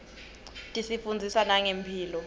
tisifundzisa nangemphilo